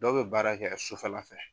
Dɔw bɛ baara kɛ yan sufɛla fɛ.